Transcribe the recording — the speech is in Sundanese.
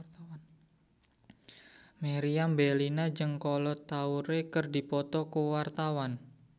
Meriam Bellina jeung Kolo Taure keur dipoto ku wartawan